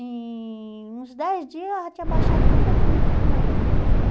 Em uns dez dias já tinha abaixado completamente o tumor da minha filha.